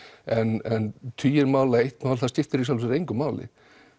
en tugir mál eitt mál það skiptir í raun engu máli